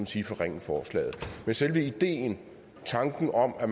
sige forringe forslaget men selve ideen tanken om at